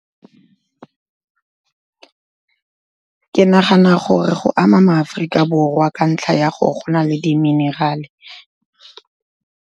Ke nagana gore go ama ma-Aforika Borwa, ka ntlha ya gore go na le di-mineral-e.